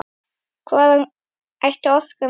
Hvaðan ætti orkan að koma?